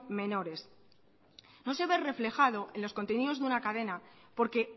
menores no se ve reflejado en los contenidos de la cadena porque